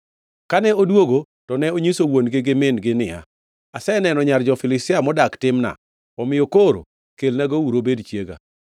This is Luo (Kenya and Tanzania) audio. Kane odwogo to ne onyiso wuon-gi gi min-gi niya, “Aseneno nyar jo-Filistia modak Timna; omiyo koro kelnagouru obed chiega.”